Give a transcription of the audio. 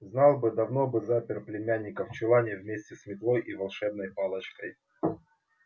знал бы давно бы запер племянника в чулане вместе с метлой и волшебной палочкой